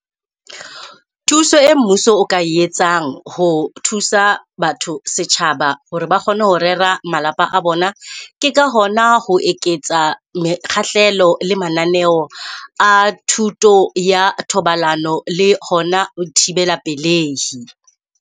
Thuso e mmuso o ka e etsang ho thusa batho setjhaba hore ba kgone ho rera malapa a bona. Ke ka hona ho eketsa mekgahlelo le mananeo a thuto ya thobalano le hona ho thibela pelehi.